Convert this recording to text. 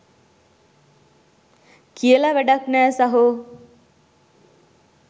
කියල වඩක් නෑ සහෝ.